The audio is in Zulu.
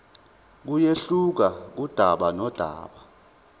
kuyehluka kudaba nodaba